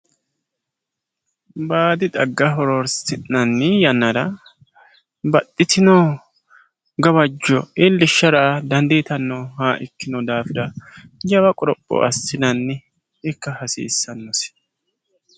baadi xagga horonsi'nani yannara baxxitino gawajjo iillishshara dandiitanoha ikkino daafira jawa qoropho assinanniha ikka hasiissanosi.